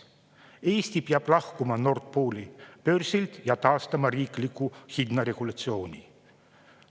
Eesti peab lahkuma Nord Pooli börsilt ja taastama riikliku hinnaregulatsiooni.